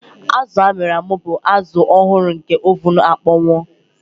Azụ a mịrị amị bụ azụ ọhụrụ nke oven akpọnwụwo.